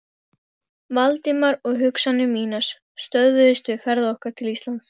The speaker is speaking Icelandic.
Valdimar, og hugsanir mínar stöðvuðust við ferð okkar til Íslands.